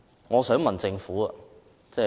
我想問政府何謂"輕"？